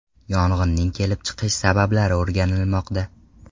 Yong‘inning kelib chiqish sabablari o‘rganilmoqda.